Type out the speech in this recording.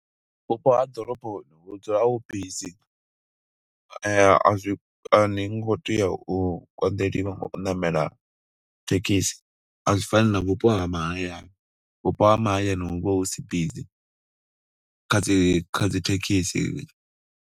Vhupo ha ḓoroboni hu dzula hu busy, azwi ani ngo tea u konḓeleliwa nga u ṋamela thekhisi. A zwi fani na vhupo ha mahayani, vhupo ha mahayani hu vha hu si busy kha dzi. dzi thekhisi.